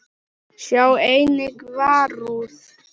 Sjá einnig Varúð.